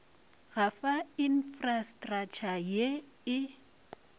go fa infrastratšha ye e